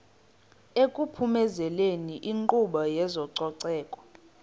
ekuphumezeni inkqubo yezococeko